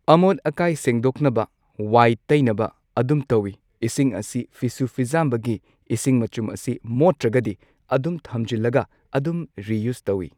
ꯑꯃꯣꯠ ꯑꯀꯥꯏ ꯁꯦꯡꯗꯣꯛꯅꯕ ꯋꯥꯏ ꯇꯩꯅꯕ ꯑꯗꯨꯝ ꯇꯧꯋꯤ꯫ ꯏꯁꯤꯡ ꯑꯁꯤ ꯐꯤꯁꯨ ꯐꯤꯖꯥꯝꯕꯒꯤ ꯏꯁꯤꯡ ꯃꯆꯨꯝ ꯑꯁꯤ ꯃꯣꯠꯇ꯭ꯔꯒꯗꯤ ꯑꯗꯨꯝ ꯊꯝꯖꯤꯜꯂꯒ ꯑꯗꯨꯝ ꯔꯤꯌꯨꯁ ꯇꯧꯋꯤ꯫